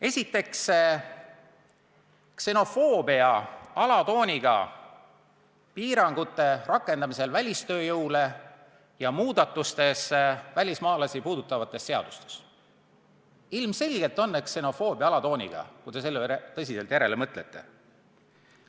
Esiteks on põhjuseks ksenofoobse alatooniga piirangute rakendamine välistööjõule ja muudatused välismaalasi puudutavas seaduses – ilmselgelt on need ksenofoobse alatooniga, kui te selle üle tõsiselt järele mõtlete.